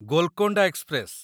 Golconda express